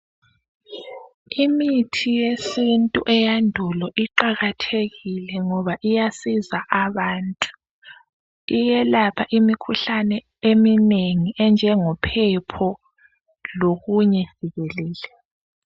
Imithi yesintu eyandulo iqakathekile ngoba iyasiza abantu, iyelapha imikhuhlane eminengi enjengophepho lokunye jikelele.